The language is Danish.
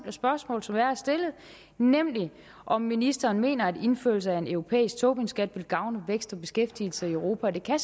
spørgsmål som jeg har stillet nemlig om ministeren mener at indførelse af en europæisk tobinskat vil gavne vækst og beskæftigelse i europa og det kan